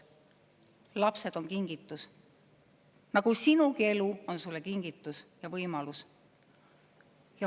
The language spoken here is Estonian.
Lapsed on kingitus, nagu sinugi elu on sulle kingitus ja võimalus.